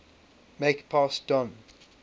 make pass don